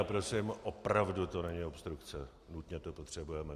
A prosím, opravdu to není obstrukce, nutně to potřebujeme.